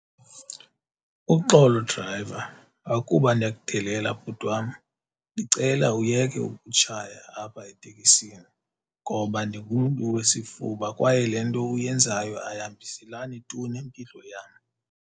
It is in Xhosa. Uxolo drayiva, akuba ndiyakudelela bhuti wam. Ndicela uyeke ukutshaya apha etekisini ngoba ndingumntu wesifuba kwaye le nto uyenzayo ayihambiselani tu nempilo yam.